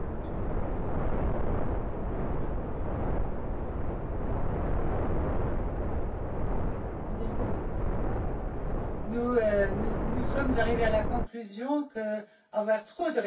Madame la Présidente, nous sommes arrivés à la conclusion qu'avoir trop de référendaires par juge implique une déresponsabilisation des juges et qu'il est important